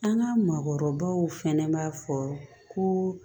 An ka mɔgɔkɔrɔbaw fɛnɛ b'a fɔ ko